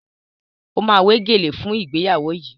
O ma wé gèlè fún ìgbéyàwó yìí